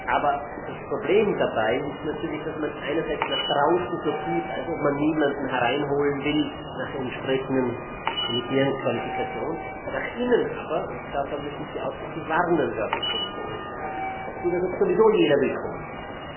Aber das Problem dabei ist natürlich, dass man einerseits nach draußen so tut, als ob man niemanden hereinholen will, unter Berufung auf entsprechende elitäre Qualifikationen, nach innen aber und davor möchte ich Sie ausdrücklich warnen, werte Kolleginnen und Kollegen so tut, als ob sowieso jeder willkommen sei.